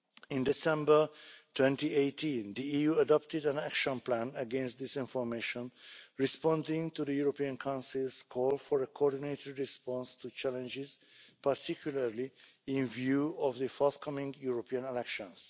In December 2018, the EU adopted an action plan against disinformation, responding to the European Council's call for a coordinated response to challenges, particularly with a view to the forthcoming European elections.